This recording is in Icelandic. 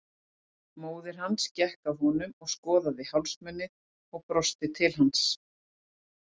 Móðir hans gekk að honum og skoðaði hálsmenið og brosti til hans.